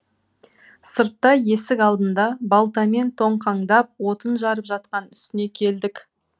сыртта есік алдында балтамен тоңқаңдап отын жарып жатқан үстіне келдік